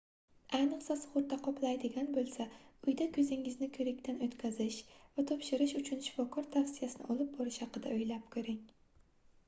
ayniqsa sugʻurta qoplaydigan boʻlsa uyda koʻzingizni koʻrikdan oʻtkazish va topshirish uchun shifokor tavsiyasini olib borish haqida oʻylab koʻring